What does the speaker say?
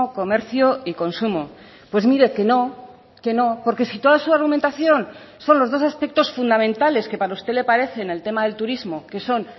comercio y consumo pues mire que no que no porque si toda su argumentación son los dos aspectos fundamentales que para usted le parece en el tema del turismo que son